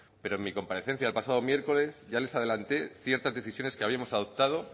pero en mi comparecencia el pasado miércoles ya les adelanté ciertas decisiones que habíamos adoptado